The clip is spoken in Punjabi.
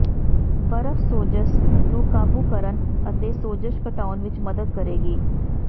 ਬਰਫ਼ ਸੋਜ਼ਸ਼ ਨੂੰ ਕਾਬੂ ਕਰਨ ਅਤੇ ਸੋਜ਼ਸ਼ ਘਟਾਉਣ ਵਿਚ ਮਦਦ ਕਰੇਗੀ